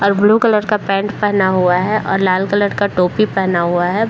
और blue colour का pant पहना हुआ है और लाल कलर का टोपी पहना हुआ है ।